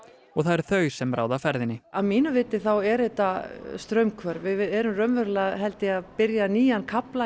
og það eru þau sem ráða ferðinni að mínu mati eru þetta straumhvörf við erum raunverulega að byrja nýjan kafla